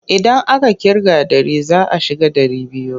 Idan aka ƙirga ɗari za a shiga ɗari biyu.